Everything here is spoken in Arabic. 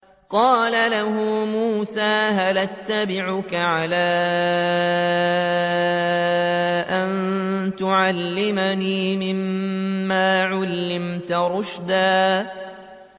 قَالَ لَهُ مُوسَىٰ هَلْ أَتَّبِعُكَ عَلَىٰ أَن تُعَلِّمَنِ مِمَّا عُلِّمْتَ رُشْدًا